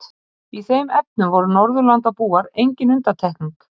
Í þeim efnum voru Norðurlandabúar engin undantekning.